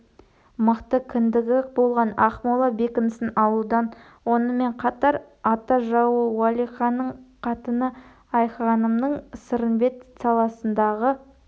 мықты кіндігі болған ақмола бекінісін алудан онымен қатар ата жауы уәлиханның қатыны айғанымның сырымбет саласындағы